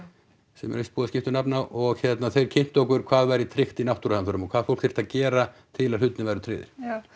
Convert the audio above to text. sem er víst búið að skipta um nafn á og þeir kynntu okkur hvað væri tryggt í náttúruhamförum og hvað fólk þyrfti að gera til að hlutirnir væru tryggðir já